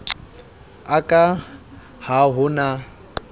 a ka ha ho na